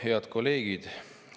Head kolleegid!